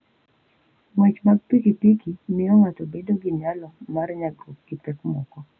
Ng'wech mar pikipiki miyo ng'ato bedo gi nyalo mar nyagruok gi pek moko.